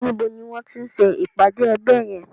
Nibo ni wọ́n ń ti ṣe ìpàdé ẹgbẹ́ yẹn?